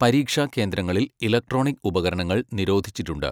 പരീക്ഷാ കേന്ദ്രങ്ങളിൽ ഇലക്ട്രോണിക് ഉപകരണങ്ങൾ നിരോധിച്ചിട്ടുണ്ട്.